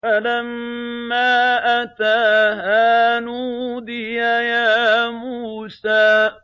فَلَمَّا أَتَاهَا نُودِيَ يَا مُوسَىٰ